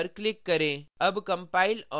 अब save पर click करें